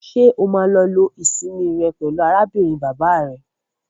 Ṣé o máa lọ lo ìsinmi rẹ pẹlú arábìnrin bàbá rẹ?